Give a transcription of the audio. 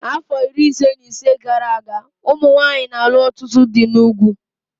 Afọ iri ise na ise gara aga, ụmụ nwanyị na-alụ ọtụtụ dị n'ugwu